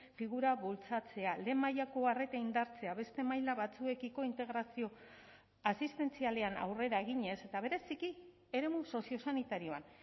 figura bultzatzea lehen mailako arreta indartzea beste maila batzuekiko integrazio asistentzialean aurrera eginez eta bereziki eremu soziosanitarioan